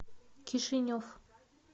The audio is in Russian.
кишинев